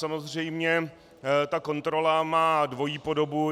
Samozřejmě ta kontrola má dvojí podobu.